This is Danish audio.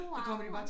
Mor